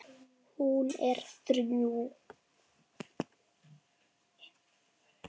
Hún er þrjú.